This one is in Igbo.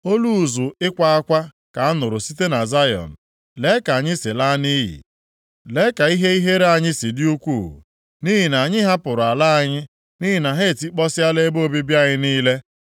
Olu ụzụ ịkwa akwa ka a nụrụ site na Zayọn ‘Lee ka anyị si laa nʼiyi! Lee ka ihe ihere anyị si dị ukwuu! Nʼihi na anyị hapụrụ ala anyị, nʼihi na ha etikpọsịala ebe obibi anyị niile.’ ”